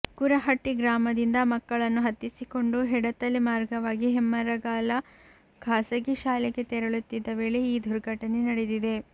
ಕುರಹಟ್ಟಿ ಗ್ರಾಮದಿಂದ ಮಕ್ಕಳನ್ನು ಹತ್ತಿಸಿಕೊಂಡು ಹೆಡತಲೆ ಮಾರ್ಗವಾಗಿ ಹೆಮ್ಮರಗಾಲ ಖಾಸಗಿ ಶಾಲೆಗೆ ತೆರಳುತ್ತಿದ್ದ ವೇಳೆ ಈ ದುರ್ಘಟನೆ ನಡೆದಿದೆ